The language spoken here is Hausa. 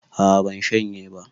A'a ban shanye ba